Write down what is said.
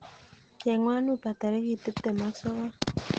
Chengwon uber tarikitb tiptem ak sogol